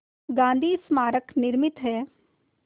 गांधी स्मारक निर्मित है